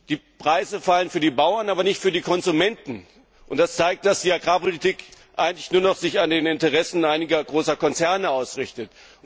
Die Preise fallen für die Bauern, aber nicht für die Konsumenten. Das zeigt, dass die Agrarpolitik sich eigentlich nur noch an den Interessen einiger großer Konzerne ausrichtet.